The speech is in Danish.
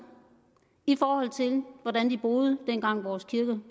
i forhold til hvordan de boede dengang vores kirker